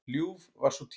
Ljúf var sú tíð.